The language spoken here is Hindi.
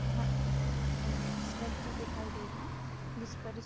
यहाँ एक स्ट्रक्चर दिखाई दे रहा है जिसपर --